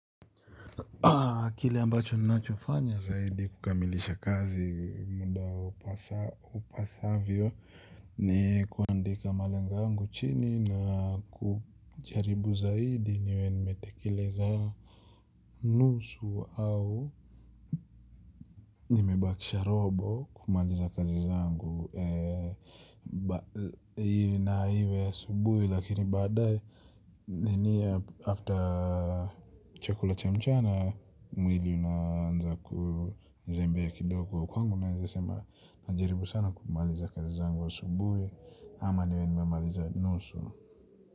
Kile ambacho ninachofanya zaidi kukamilisha kazi muda upasavyo ni kuandika malengo yangu chini na kujaribu zaidi niwe nimetekeleza nusu au nimebakisha robo kumaliza kazi zangu. Na iwe asubuhi lakini baadaye nini ya after chakula cha mchana. Mwili unaanza kuzembea kidogo kwangu. Nawezasema najaribu sana kumaliza kazi zangu ya asubuhi. Ama niwe nimemaliza nusu.